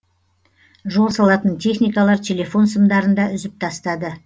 жол салатын техникалар телефон сымдарын да үзіп тастады